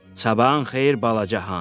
Sabahın xeyir balaca hans.